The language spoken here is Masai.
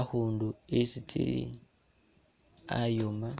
akhundu isi tsili ayooma